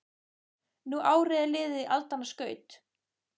Nú árið er liðið í aldanna skaut